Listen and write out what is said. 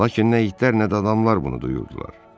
Lakin nə itlər, nə də adamlar bunu duyurdular.